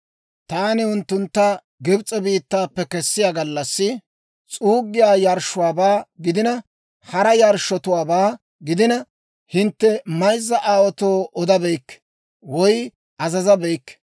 Taani unttuntta Gibs'e biittaappe kessiyaa gallassi, s'uuggiyaa yarshshuwaabaa gidina, hara yarshshotuwaabaa gidina, hintte mayzza aawaatoo odabeykke woy azazabeykke.